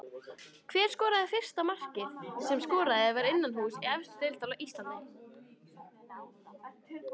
Hver skoraði fyrsta markið sem skorað var innanhúss í efstu deild á Íslandi?